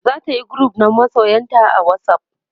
zatayi group na masoyanta a whatsapp